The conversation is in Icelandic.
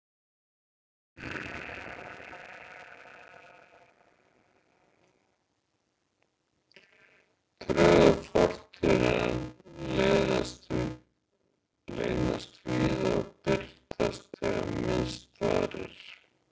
Draugar fortíðarinnar leynast víða og birtast þegar minnst varir.